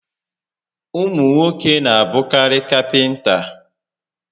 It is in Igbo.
Ụmụ nwoke n'abụkarị kapịnta